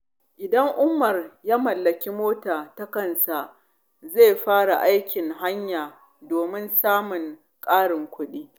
Idan Umar ya mallaki mota ta kansa, zai fara aikin haya domin samun ƙarin kuɗi.